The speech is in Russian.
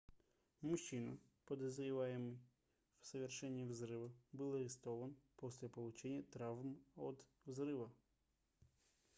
мужчина подозреваемый в совершении взрыва был арестован после получения травм от взрыва